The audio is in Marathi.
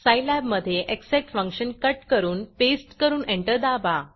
सायलॅब मधे एक्ससेट फंक्शन कट करून पेस्ट करून एंटर दाबा